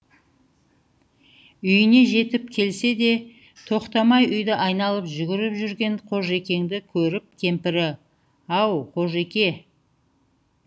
үйіне жетіп келсе де тоқтамай үйді айналып жүгіріп жүрген қожекеңді көріп кемпірі ау қожеке